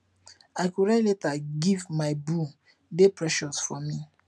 i go write love letter give my booe dey precious for me